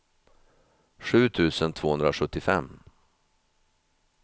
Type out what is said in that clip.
sju tusen tvåhundrasjuttiofem